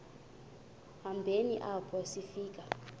hambeni apho sifika